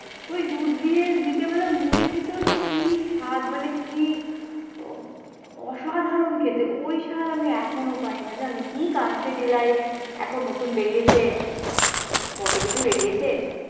এই দুধ দিয়ে বিকালবেলা মুড়ি খেতেও যে কি স্বাদ মানে কি অসাধারণ খেতে, ওই স্বাদ আমি এখনো পাই না জানো কি ক্যান্ডিডিলাইড এখন নতুন বেরিয়েছে কতো কিছু বেরিয়েছে।